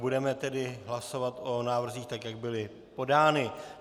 Budeme tedy hlasovat o návrzích tak, jak byly podány.